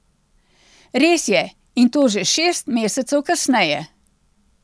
Res je, in to že šest mesecev kasneje.